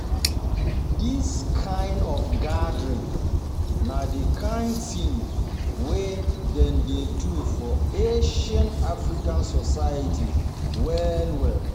This kind um of gathering na the kind thing um wey dem dey do for ancient African societies well well.